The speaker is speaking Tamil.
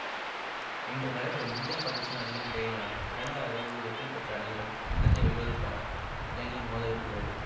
இன்று நடைபெறும் இந்திய பாகிஸ்தான் அணிகளுக்கு இடையிலான இரண்டாவது அரையிறுதியில் வெற்றிபெற்ற அணியுடன் கிண்ணத்தை வெல்வதற்காக இலங்கை மோதவிருக்கிறது